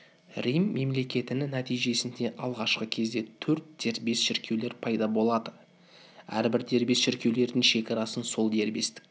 рим мемлекетінің нәтижесінде алғашқы кезде төрт дербес шіркеулер пайда болады әрбір дербес шіркеулердің шекарасын сол дербестік